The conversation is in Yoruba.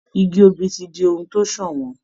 Igi obì ti di ohun tó ṣọ̀wọ́n.